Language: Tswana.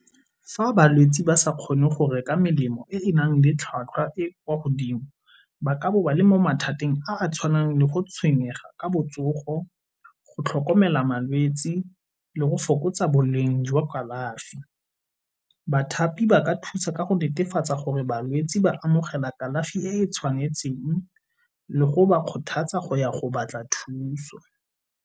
Fa balwetsi ba sa kgone go reka melemo e e nang le tlhwatlhwa e e kwa godimo ba ka bo ba le mo mathateng a a tshwanang le go tshwenyega ka botsogo, go tlhokomela malwetsi le go fokotsa boleng jwa kalafi. Bathapi ba ka thusa ka go netefatsa gore balwetsi ba amogela kalafi e e tshwanetseng le go ba kgothatsa go ya go batla thuso.